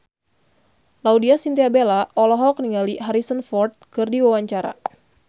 Laudya Chintya Bella olohok ningali Harrison Ford keur diwawancara